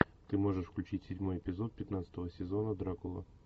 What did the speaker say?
ты можешь включить седьмой эпизод пятнадцатого сезона дракула